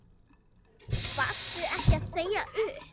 Varstu ekki að segja upp?